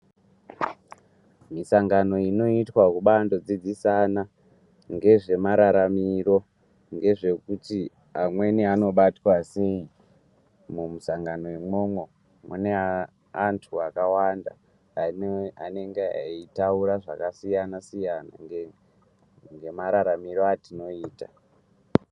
Muisangano inoitwa kubandodzidzisana nezvemararamiro nezvekuti amweni anobatwa sei . Musangano umomo mune vantu vakawanda anenge eitaura zvakasiyana siyana nemararamiro atinoita.